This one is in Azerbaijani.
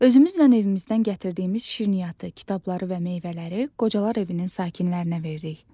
Özümüzlə evimizdən gətirdiyimiz şirniyyatı, kitabları və meyvələri qocalar evinin sakinlərinə verdik.